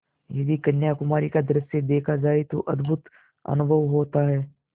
यदि कन्याकुमारी का दृश्य देखा जाए तो अद्भुत अनुभव होता है